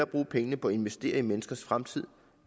bruge pengene på at investere i menneskers fremtid